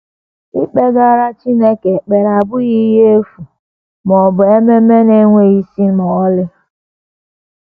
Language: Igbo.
Ikpegara Chineke ekpere abụghị ihe efu ma ọ bụ ememe na - enweghị isi ma ọlị.